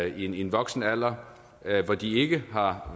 i en voksen alder hvor de ikke har